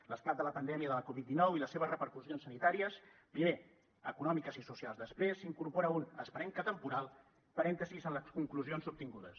l’esclat de la pandèmia de la covid dinou i les seves repercussions sanitàries primer econòmiques i socials després incorpora un esperem que temporal parèntesi en les conclusions obtingudes